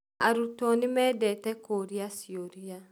Aruto nĩmendete kũũrĩa ciũria